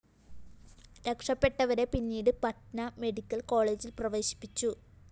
രക്ഷപെട്ടവരെ പിന്നീട് പട്ന മെഡിക്കൽ കോളജില്‍ പ്രവേശിപ്പിച്ചു